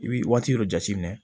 I b'i waati dɔ jateminɛ